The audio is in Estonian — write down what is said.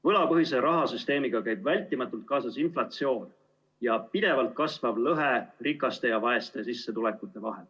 Võlapõhise rahasüsteemiga käib vältimatult kaasas inflatsioon ja pidevalt kasvav lõhe rikaste ja vaeste sissetulekute vahel.